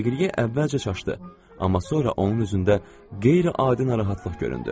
Deqriye əvvəlcə çaşdı, amma sonra onun üzündə qeyri-adi narahatlıq göründü.